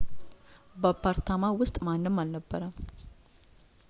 በአፓርታማው ውስጥ ማንም አልነበረም